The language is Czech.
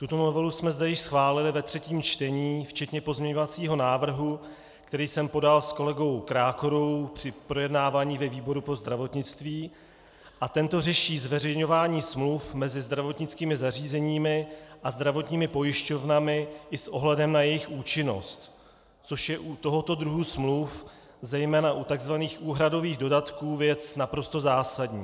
Tuto novelu jsme zde již schválili ve třetím čtení včetně pozměňovacího návrhu, který jsem podal s kolegou Krákorou při projednávání ve výboru pro zdravotnictví, a tento řeší zveřejňování smluv mezi zdravotnickými zařízeními a zdravotními pojišťovnami i s ohledem na jejich účinnost, což je u tohoto druhu smluv, zejména u tzv. úhradových dodatků, věc naprosto zásadní.